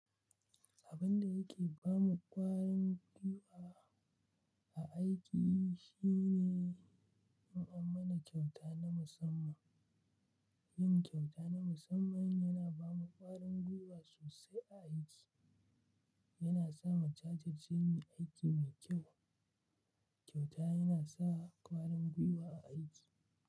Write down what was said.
Abin da yake ba mu ƙwarin gwiwa a aiki shine in an mana kyauta na musamman. Yin kyauta na musamman yana ba mu ƙwarin gwiwa sosai a aiki. Yana sa mu jajurce muyi aiki mai kyau. Kyauta yana sa ƙwarin gwiwa a aiki.